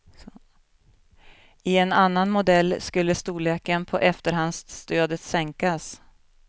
I en annan modell skulle storleken på efterhandsstödet sänkas.